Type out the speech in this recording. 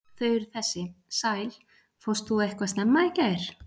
Þau eru þessi: sæl, fórst þú eitthvað snemma í gær?